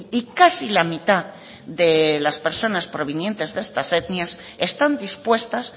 y casi la mitad de las personas provenientes de estas etnias están dispuestas